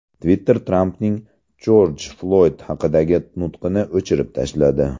Twitter Trampning Jorj Floyd haqidagi nutqini o‘chirib tashladi.